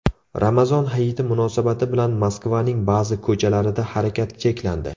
Ramazon hayiti munosabati bilan Moskvaning ba’zi ko‘chalarida harakat cheklandi.